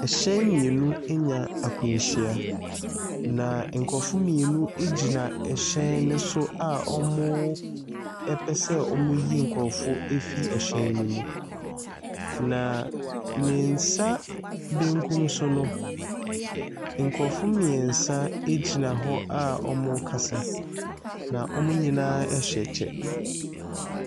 Hyɛn mmienu anya akwanhyia, na nkurɔfoɔ mmienu gyina hyɛn no so, a wɔpɛ sɛ wɔyi nkurɔfoɔ firi hyɛn no mu. Na ne nsa benkum so no, nkurɔfoɔ mmeɛnsa gyina hɔ a wɔrekasa, na wɔn nyinaa hyɛ kyɛ.